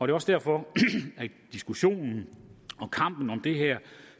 er også derfor at diskussionen og kampen om det her